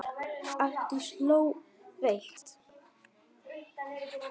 Arndís hló veikt.